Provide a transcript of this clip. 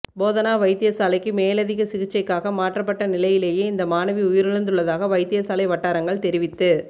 போதனா வைத்தியசாலைக்கு மேலதிக சிகிச்சைக்காக மாற்றப்பட்ட நிலையிலேயே இந்த மாணவி உயிரிழந்துள்ளதாக வைத்தியசாலை வட்டாரங்கள் தெரிவித்து